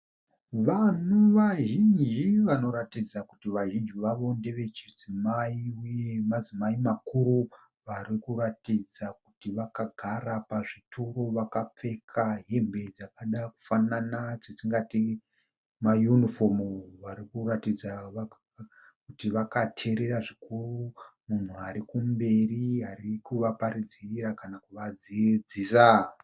Vanhu vazhinji vanoratidza kuti vazhinji vavo ndeve chidzimai uye madzimai makuru varikuratidza kuti vakagara pazvitori vakapfeka hembe dzakada kufanana dzatingati mayunifomu. Vari kuratidza kuti vakateerera zvikuru munhu ari kumberi ari kuvaparidzira kana kuvadzidzisa.